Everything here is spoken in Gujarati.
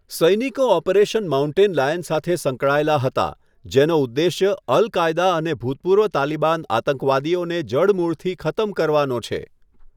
સૈનિકો ઓપરેશન માઉન્ટેન લાયન સાથે સંકળાયેલા હતા, જેનો ઉદ્દેશ્ય અલ કાયદા અને ભૂતપૂર્વ તાલિબાન આતંકવાદીઓને જડમૂળથી ખતમ કરવાનો છે.